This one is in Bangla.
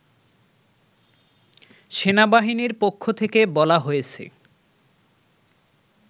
সেনাবাহিনীর পক্ষ থেকে বলা হয়েছে